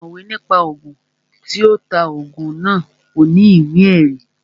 Ọ̀mọ̀wé ní pa Ògùn, tí ó ta Ògùn náà ò ní ìwé ẹ̀rí